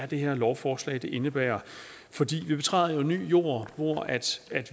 det her lovforslag indebærer vi betræder jo ny jord hvor